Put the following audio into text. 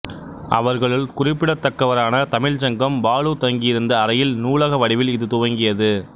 அவர்களுள் குறிப்பிடத்தக்கவரான தமிழ்ச்சங்கம் பாலு தங்கியிருந்த அறையில் நூலக வடிவில் இது துவங்கியது